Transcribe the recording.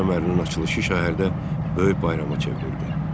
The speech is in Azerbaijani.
Su kəmərinin açılışı şəhərdə böyük bayrama çevrildi.